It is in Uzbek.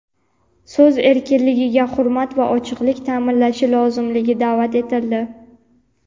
so‘z erkinligiga hurmat va ochiqlik ta’minlanishi lozimligiga da’vat etildi.